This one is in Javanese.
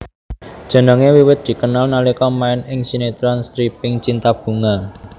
Jenengé wiwit dikenal nalika main ing sinetron stripping cinta bunga